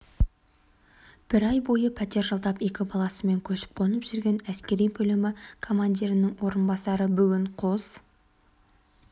бір ай бойы пәтер жалдап екі баласымен көшіп-қонып жүрген әскери бөлімі командирінің орынбасары бүгін қос